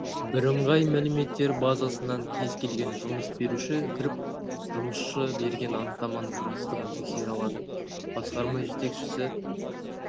бірыңғай мәліметтер базасынан кез келген жұмыс беруші кіріп жұмысшы берген анықтаманың растығын тексере алады басқарма жетекшісі